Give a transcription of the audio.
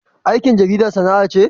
Aikin jarida sana'a ce?